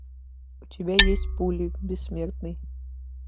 у тебя есть пули бессмертный